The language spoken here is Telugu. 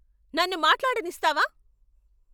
నన్ను మాట్లాడనిస్తావా?